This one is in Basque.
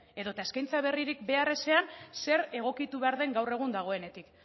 edota eskaintza berririk behar ezean zer egokitu behar den gaur egun dagoenetik